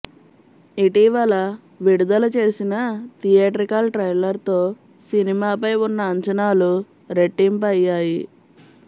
ఇటీవల విడుదల చేసిన థియేట్రికల్ ట్రైలర్తో సినిమాపై ఉన్న అంచనాలు రెట్టింపయ్యాయి